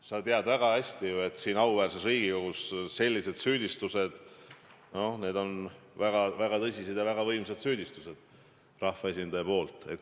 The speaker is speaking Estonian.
Sa tead ju väga hästi, et siin auväärses Riigikogus sellised süüdistused rahvaesindaja poolt on väga tõsised ja väga võimsad.